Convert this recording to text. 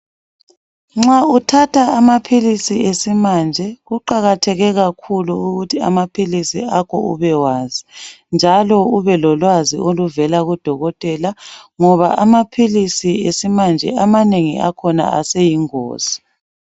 Nxa uthatha amaphilisi esimanje kuqakatheke kakhulu ukuthi amaphilisi akho ubewazi njalo ubelolwazi oluvela kudokotela ngoba amaphilisi esimanje amanengi akhona aseyingozi.